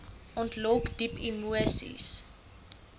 ontlok diep emoseis